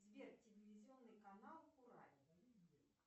сбер телевизионный канал курагин